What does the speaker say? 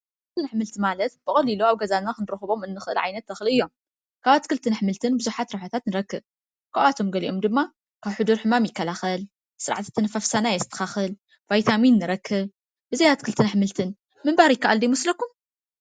ኣትክልትን ኣሕምልትን ማለት ብቀሊሉ ኣብ ገዛ ክንረክቦም ንክእል ዓይነት ተክሊ እዮም። ካብ ኣትክልትን ኣሕምልትን ብዙሓት ረብሓታት ንረክብ ካብኣቶም ገሊኦም ድማ ካብ ሕዱር ሕማም ይከላከል ስርዓተ ኣተናፋፍሳና የስተካከል ቫይታሚን ንረከብ ።ብዘይ ኣትክልትን ኣሕምልትን ምንባር ዝከኣል ዶ ይመስለኩም?